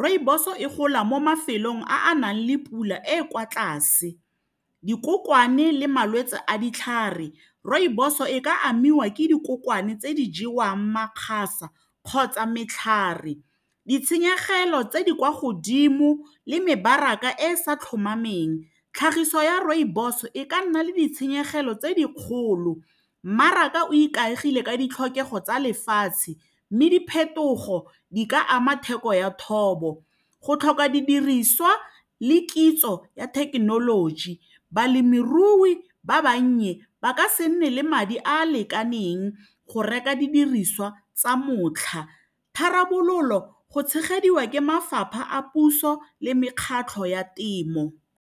rooibos-o e gola mo mafelong a a nang le pula e e kwa tlase dikokwane le malwetse a ditlhare rooibos-o e ka amiwa ke dikokwane tse di jewang makgasa kgotsa metlhare ditshenyegelo tse di kwa godimo le mebaraka e sa tlhomameng tlhagiso ya rooibos e ka nna le ditshenyegelo tse di kgolo mmaraka o ikaegile ka ditlhokego tsa lefatshe mme diphetogo di ka ama theko ya thobo go tlhoka didiriswa le kitso ya thekenoloji balemirui ba bannye ba ka se nne le madi a a lekaneng go reka didiriswa tsa motlha tharabololo go tshegediwa ke mafapha a puso le mekgatlho ya temo.